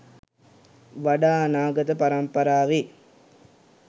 වඩා අනාගත පරම්පරාවේ